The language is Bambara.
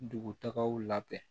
Dugutagaw labɛn